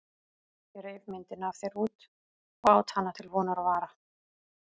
Ég reif myndina af þér út og át hana til vonar og vara.